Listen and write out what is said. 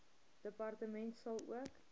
departement sal ook